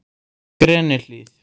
Grenihlíð